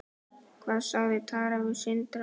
Hvað sagði Tara við Sindra?